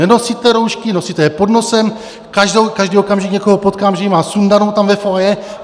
Nenosíte roušky, nosíte je pod nosem, každý okamžik někoho potkám, že ji má sundanou tam ve foyer.